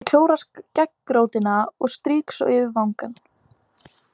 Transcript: Ég klóra skeggrótina og strýk svo yfir vangann.